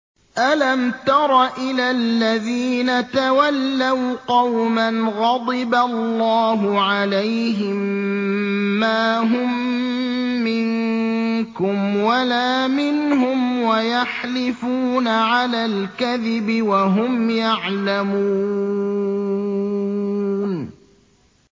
۞ أَلَمْ تَرَ إِلَى الَّذِينَ تَوَلَّوْا قَوْمًا غَضِبَ اللَّهُ عَلَيْهِم مَّا هُم مِّنكُمْ وَلَا مِنْهُمْ وَيَحْلِفُونَ عَلَى الْكَذِبِ وَهُمْ يَعْلَمُونَ